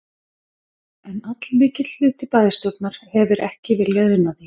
En allmikill hluti bæjarstjórnar hefir ekki viljað una því.